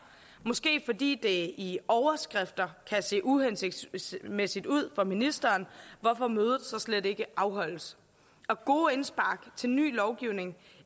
måske fordi det i overskrifter kan se uhensigtsmæssigt ud for ministeren hvorfor mødet så slet ikke afholdes og gode indspark til ny lovgivning